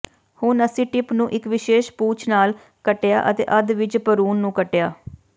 ਹੁਣ ਅਸੀਂ ਟਿਪ ਨੂੰ ਇਕ ਵਿਸ਼ੇਸ਼ ਪੂਛ ਨਾਲ ਕੱਟਿਆ ਅਤੇ ਅੱਧ ਵਿਚ ਭਰੂਣ ਨੂੰ ਕੱਟਿਆ